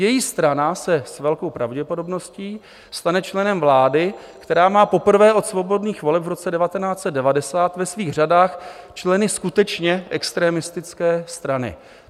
Její strana se s velkou pravděpodobností stane členem vlády, která má poprvé od svobodných voleb v roce 1990 ve svých řadách členy skutečně extrémistické strany.